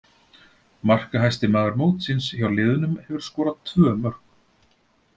Markahæsti maður mótsins hjá liðunum hefur skorað tvö mörk.